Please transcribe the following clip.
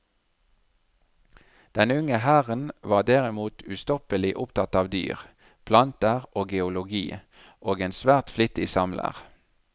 Den unge herren var derimot ustoppelig opptatt av dyr, planter og geologi, og en svært flittig samler.